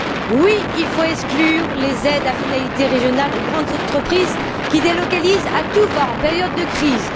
Oui, il faut exclure les aides à finalité régionale aux grandes entreprises qui délocalisent à tout va en période de crise.